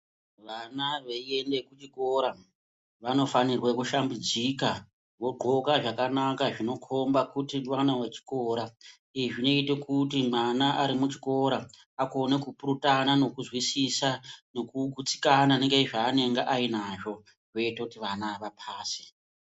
Vana veiende kuchikora vanofanirwe kushambidzika vogqoka zvakanaka zvinokomba kuti mwana wechikora izvi zvinoite kuti mwana ari muchikora akone kupurutana nekuzwisisa nekugutsikana ngezvaanenge anazvo zvinoite kuti vana vapase.